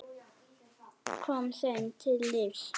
Kom þeim til lífs.